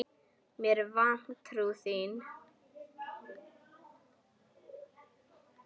Með vantrú þína.